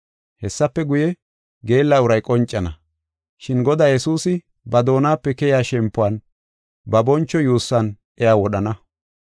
Hessafe guye, geella uray qoncana, shin Godaa Yesuusi ba doonape keyiya shempuwan, ba boncho yuussan iya wodhana.